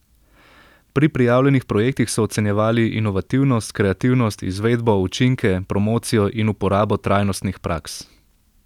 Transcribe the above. Pri prijavljenih projektih so ocenjevali inovativnost, kreativnost, izvedbo, učinke, promocijo in uporabo trajnostnih praks.